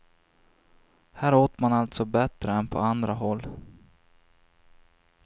Här åt man alltså bättre än på andra håll.